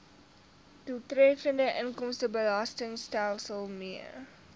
doeltreffende inkomstebelastingstelsel mee